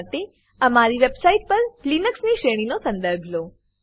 કૃપા કરીને અમારી website પર લિનક્સ ની શ્રેણીનો સંદર્ભ લો